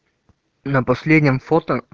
на последнем фото